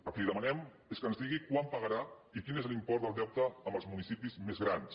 el que li demanem és que ens digui quan pagarà i quin és l’import del deute amb els municipis més grans